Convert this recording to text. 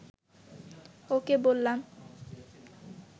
ওকে বললাম